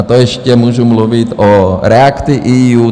A to ještě můžu mluvit o React-EU.